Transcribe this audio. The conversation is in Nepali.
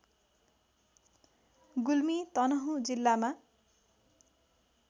गुल्मी तनहुँ जिल्लामा